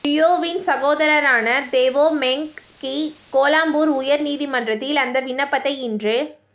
தியோவின் சகோதரரான Teo Meng Kee Kuala Lumpur உயர் நீதிமன்றத்தில் அந்த விண்ணப்பத்தை இன்று